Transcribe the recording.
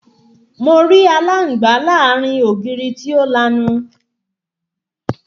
Mo rí aláǹgbá láàárín ògiri tí ó lanu